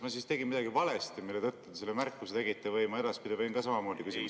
Kas ma tegin midagi valesti, mille tõttu te selle märkuse tegite, või ma edaspidi võin ka samamoodi küsida?